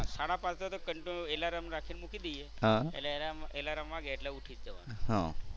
સાડા પાંચે તો એલાર્મ રાખીને મૂકી દઈએ એટલે એલાર્મ એલાર્મ વાગે એટલે ઉઠી જ જવાનું.